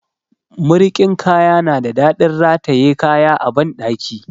Marikin kaya na da daɗin rataye kaya a banɗaki.